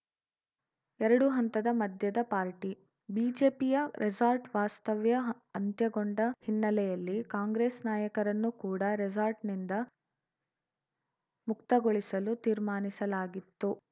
ಎರಡು ಹಂತದ ಮದ್ಯದ ಪಾರ್ಟಿ ಬಿಜೆಪಿಯ ರೆಸಾರ್ಟ್‌ ವಾಸ್ತವ್ಯ ಅಂತ್ಯಗೊಂಡ ಹಿನ್ನೆಲೆಯಲ್ಲಿ ಕಾಂಗ್ರೆಸ್‌ ನಾಯಕರನ್ನು ಕೂಡ ರೆಸಾರ್ಟ್‌ನಿಂದ ಮುಕ್ತಗೊಳಿಸಲು ತೀರ್ಮಾನಿಸಲಾಗಿತ್ತು